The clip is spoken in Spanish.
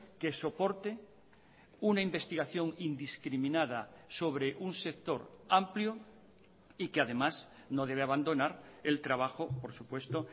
que soporte una investigación indiscriminada sobre un sector amplio y que además no debe abandonar el trabajo por supuesto